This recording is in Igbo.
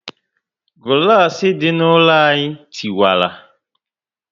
Gulasi dị na ụlọ anyị tiwara